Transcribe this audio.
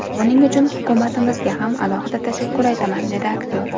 Buning uchun hukumatimizga ham alohida tashakkur aytaman”, dedi aktyor.